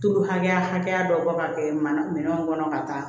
Tulu hakɛya hakɛya dɔ bɔ ka kɛ mana minɛnw kɔnɔ ka taa